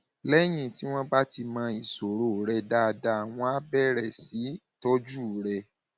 lẹyìn tí wọn bá ti mọ ìṣòro rẹ dáadáa wọn á bẹrẹ sí í tọjú rẹ